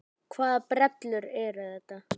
Hvaða brellur eru þetta?